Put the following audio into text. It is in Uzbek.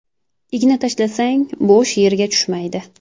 Igna tashlasang, bo‘sh yerga tushmaydi.